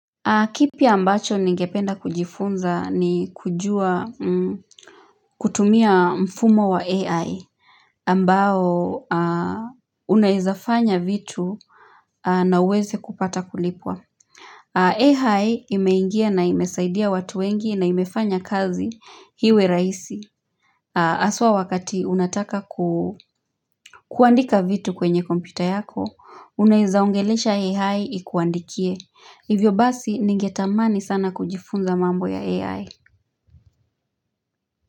Kipi ambacho ningependa kujifunza ni kujua kutumia mfumo wa AI ambao unaezafanya vitu na uweze kupata kulipwa AI imeingia na imesaidia watu wengi na imefanya kazi iwe rahisi haswa wakati unataka kuandika vitu kwenye kompyuta yako Unaeza ongelesha AI ikuandikie Hivyo basi ningetamani sana kujifunza mambo ya AI.